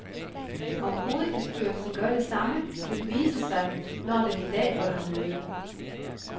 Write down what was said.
Om hovedbestyrelsen gør det samme vil vise sig, når den i dag holder møde.